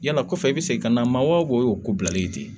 Yala kɔfɛ i bi segin ka na maa wo bilali ye ten